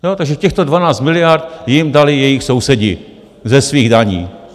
Takže těchto 12 miliard jim dali jejich sousedi ze svých daní.